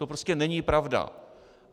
To prostě není pravda.